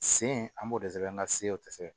Sen an b'o de sɛbɛn an ka se o tɛ se ka